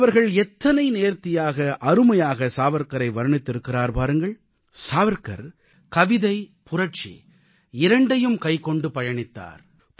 அடல் அவர்கள் எத்தனை நேர்த்தியாக அருமையாக சாவர்க்காரை வர்ணித்திருக்கிறார் பாருங்கள் சாவர்க்கார் கவிதை புரட்சி இரண்டையும் கைக்கொண்டு பயணித்தார்